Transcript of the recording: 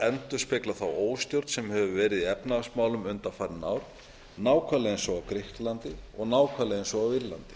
endurspegla þá óstjórn sem hefur verið í efnahagsmálum undanfarin ár nákvæmlega eins og á grikklandi og nákvæmlega eins og á írlandi